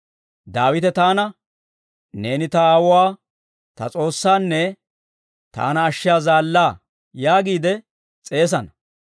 Daawite taana, ‹Neeni ta aawuwaa, ta S'oossaanne taana ashshiyaa zaallaa› yaagiide s'eesana.